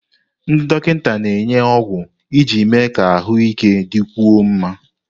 Ndị dọkịta na-enye ọgwụ iji mee ka ahụike dịkwuo mma.